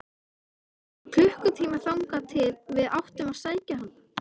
Enn var klukkutími þangað til við áttum að sækja hana.